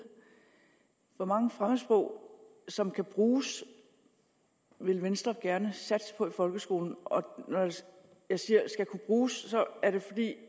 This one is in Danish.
hvor mange fremmedsprog som kan bruges vil venstre gerne satse på i folkeskolen og når jeg siger at skal kunne bruges er det